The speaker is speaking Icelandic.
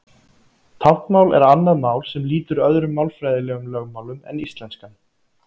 Táknmál er annað mál sem lýtur öðrum málfræðilegum lögmálum en íslenskan.